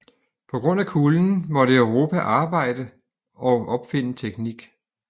På grund af kulden måtte Europa arbejde og opfinde teknik